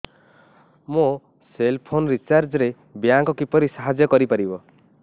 ମୋ cell phone recharge ରେ bank କିପରି ସାହାଯ୍ୟ କରିପାରିବ